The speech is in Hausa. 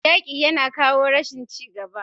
Yaki yana kawo rashin ci gaba.